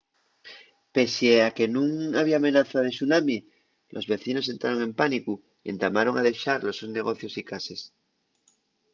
pesie a que nun había amenaza de tsunami los vecinos entraron en pánicu y entamaron a dexar los sos negocios y cases